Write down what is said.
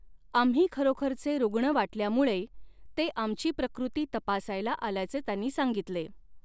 आम्ही खरोखरचे रुग्ण वाटल्यामुळै ते आमची प्रकृती तपासायला आल्याचे त्यांनी सांगितले.